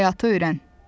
Həyatı öyrən.